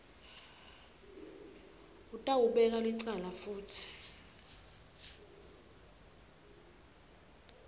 utawubekwa licala futsi